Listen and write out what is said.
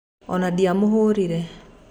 Ona ndiamũhũrire.